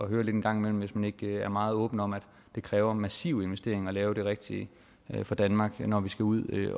høre lidt engang imellem hvis man ikke er meget åben om at det kræver massive investeringer at lave det rigtige for danmark når vi skal ud